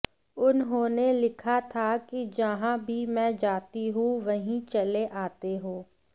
उन्होंने लिखा था कि जहां भी मैं जाती हूं वहीं चले आते हो